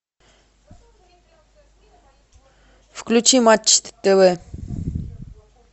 включи матч тв